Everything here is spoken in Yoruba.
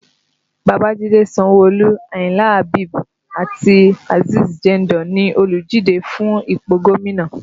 Babajide Sanwo-Olu, Ayinla Habeeb àti Azeez Jandor ni oludije fún ipò gómìnà